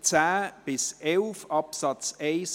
Artikel 11 Absatz 3.